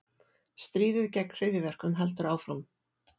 Stríðið gegn hryðjuverkum heldur áfram